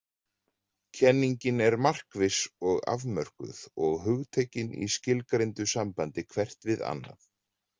Kenningin er markviss og afmörkuð og hugtökin í skilgreindu sambandi hvert við annað.